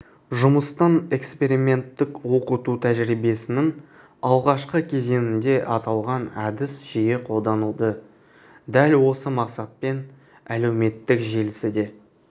жұмыстың эксперименттік оқыту тәжірибесінің алғашқы кезеңінде аталған әдіс жиі қолданылды дәл осы мақсатпен әлеуметтік желісі де